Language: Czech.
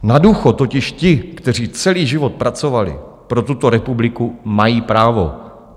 Na důchod totiž ti, kteří celý život pracovali pro tuto republiku, mají právo.